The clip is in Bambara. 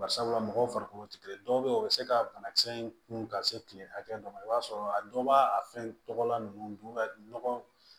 Bari sabula mɔgɔw farikolo tɛ kelen ye dɔw bɛ yen o bɛ se ka banakisɛ in kunun ka se kile hakɛ dɔ ma i b'a sɔrɔ a dɔw b'a fɛn tɔgɔ la ninnu don ka nɔgɔ